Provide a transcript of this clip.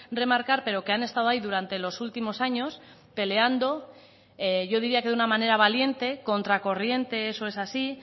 remarcar pero que han estado ahí durante los últimos años peleando yo diría que de una manera valiente contra corriente eso es así